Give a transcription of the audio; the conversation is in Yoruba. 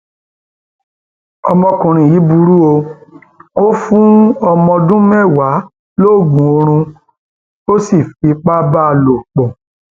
ọmọkùnrin yìí burú o ò fún ọmọdọndún mẹwàá lóògùn oorun ó sì fipá bá lò pọ